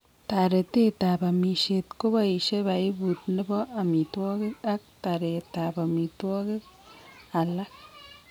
Taretet ab amishet kobaishe piput nebo amitwogik ak taret ab amitwaogik alak